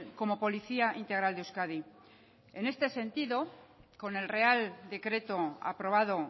como policía integral de euskadi en este sentido con el real decreto aprobado